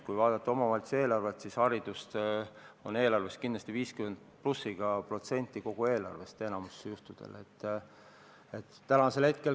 Kui vaadata omavalitsuste eelarveid, siis näeme, et haridus moodustab eelarvest kindlasti 50% või rohkem, enamikul juhtudel.